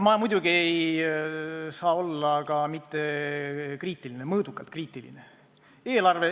Ma muidugi ei saa olla mittekriitiline, aga ma olen mõõdukalt kriitiline.